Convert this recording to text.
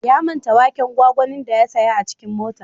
Ya manta waken gwagwanin da ya saya a cikin mota.